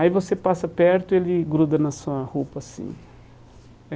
Aí você passa perto e ele gruda na sua roupa assim.